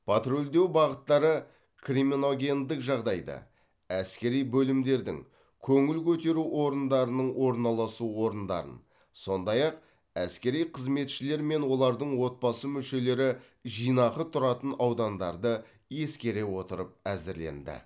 патрульдеу бағыттары криминогендік жағдайды әскери бөлімдердің көңіл көтеру орындарының орналасу орындарын сондай ақ әскери қызметшілер мен олардың отбасы мүшелері жинақы тұратын аудандарды ескере отырып әзірленді